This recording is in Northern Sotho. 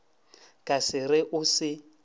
ka se re o se